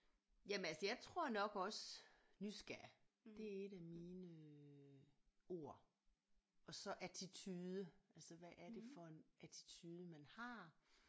Jamen altså jeg tror nok også nysgerrig det er et af mine ord og så attitude altså hvad er det for en attitude man har